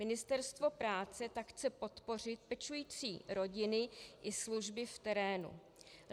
Ministerstvo práce tak chce podpořit pečující rodiny i služby v terénu.